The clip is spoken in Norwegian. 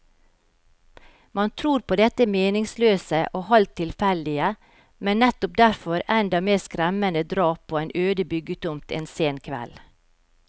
Man tror på dette meningsløse og halvt tilfeldige, men nettopp derfor enda mer skremmende drap på en øde byggetomt en sen kveld.